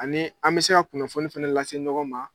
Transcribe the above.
Ani an bɛ se ka kunnafoni fana lase ɲɔgɔn ma